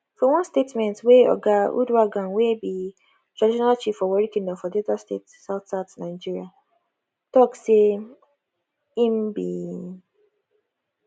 for one statement wey oga uduaghan wey be traditional chief for warri kingdom for delta state southsouth nigeria tok say im bin